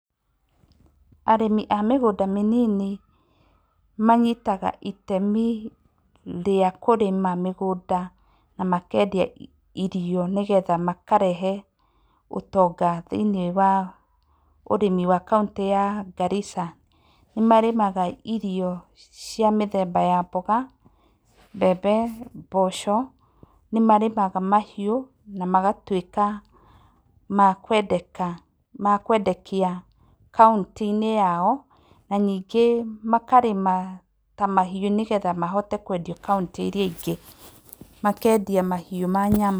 Arĩmi a mĩgũnda mĩnini, manyitaga itemi rĩa kũrĩma mĩgũnda na makendia irio nĩgetha makarehe ũtonga thĩiniĩ wa ũrĩmi wa kauntĩ ya Garissa. Nĩ marĩmaga irio cia mĩthemba ya mboga, mbembe, mboco, nĩ marĩmaga mahiũ, na magatuĩka ma kwendeka ma kwendekia kauntĩ-inĩ yao, na ningĩ makarĩma ta mahiũ nĩ getha mahote kwendio kaunti iria ingĩ, makendia mahiũ ma nyama.